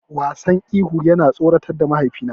Wasan ihu yana tsoratar da mahaifina.